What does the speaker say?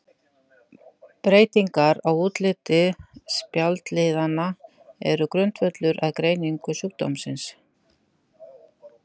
Breytingar á útliti spjaldliðanna eru grundvöllur að greiningu sjúkdómsins.